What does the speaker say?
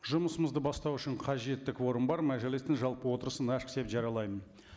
жұмысымызды бастау үшін қажетті кворум бар мәжілістің жалпы отырысын ашық деп жариялаймын